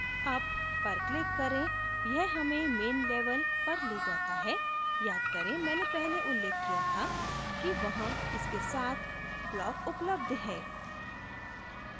up पर click करें यह main main level पर ले जाता है याद करेंमैंने पहले उल्लेख किया था कि वहाँ इसके साथ block उपलब्ध है